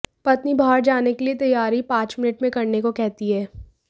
पत्नी बाहर जाने के लिए तैयारी पांच मिनट में करने को कहती है